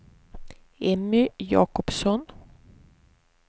Emmy Jacobsson